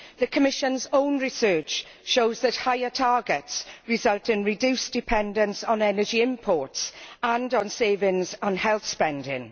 The Commission's own research shows that higher targets result in reduced dependence on energy imports and in savings on health spending.